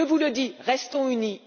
Je vous le dis restons unis.